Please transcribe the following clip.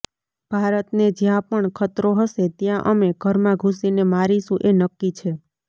ભારતને જયાં પણ ખતરો હશે ત્યાં અમે ઘરમાં ઘુસીને મારીશું એ નકકી છે